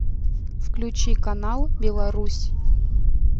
включи канал белорусь